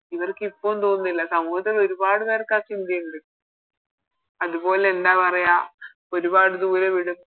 ഇവരിക്ക് ഇപ്പോഴും തോന്നുന്നില്ല സമൂഹത്തില് ഒരുപാട് പേർക്ക് ആ ചിന്തയുണ്ട് അതുപോലെ എന്താ പറയാ ഒരുപാട് ദൂരെ വിടും